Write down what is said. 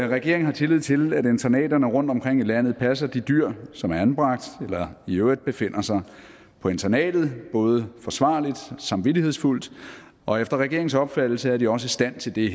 regeringen har tillid til at internaterne rundtomkring i landet passer de dyr som er anbragt eller i øvrigt befinder sig på internatet både forsvarligt samvittighedsfuldt og efter regeringens opfattelse er de også i stand til det